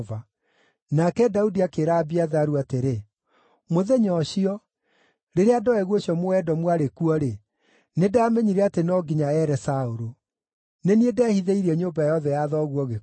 Nake Daudi akĩĩra Abiatharu atĩrĩ, “Mũthenya ũcio, rĩrĩa Doegu ũcio Mũedomu aarĩ kuo-rĩ, nĩndamenyire atĩ no nginya ere Saũlũ. Nĩ niĩ ndehithĩirie nyũmba yothe ya thoguo gĩkuũ.